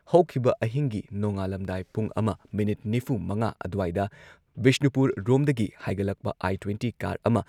ꯍꯧꯈꯤꯕ ꯑꯍꯤꯡꯒꯤ ꯅꯣꯡꯉꯥꯜꯂꯝꯗꯥꯏ ꯄꯨꯡ ꯑꯃ ꯃꯤꯅꯤꯠ ꯅꯤꯐꯨꯃꯉꯥ ꯑꯗꯨꯋꯥꯏꯗ ꯕꯤꯁꯅꯨꯄꯨꯔꯔꯣꯝꯗꯒꯤ ꯍꯥꯏꯒꯠꯂꯛꯄ ꯑꯥꯏ ꯇ꯭ꯋꯦꯟꯇꯤ ꯀꯥꯔ ꯑꯃ